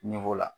la